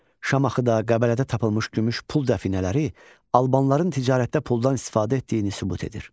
Şamaxıda, Qəbələdə tapılmış gümüş pul dəfinələri albanların ticarətdə puldan istifadə etdiyini sübut edir.